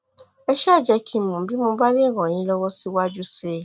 ẹ ṣáà jẹ́ kí n mọ̀ bí mo bá lè ràn yín lọ́wọ́ síwájú sí i